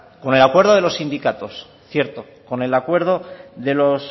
con el acuerdo de los sindicatos cierto con el acuerdo de los